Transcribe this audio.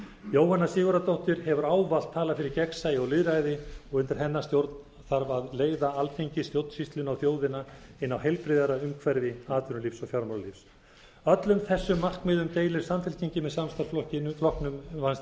jóhanna sigurðardóttir hefur ávallt talað fyrir gegnsæi og lýðræði og undir hennar stjórn þarf að leiða alþingi stjórnsýsluna og þjóðina inn á heilbrigðara umhverfi atvinnulífs og fjármálalífs öllum þessum markmiðum deilir samfylkingin með samstarfsflokknum